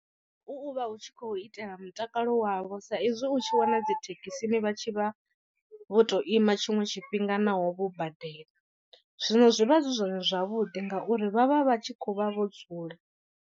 U vha hu tshi khou itela mutakalo wavho sa izwi u tshi wana dzi thekhisini vha tshi vha vho to ima tshiṅwe tshifhinga naho vho badela. Zwino zwivha zwi zwone zwavhuḓi ngauri vha vha vha tshi khou vha vho dzula.